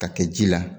Ka kɛ ji la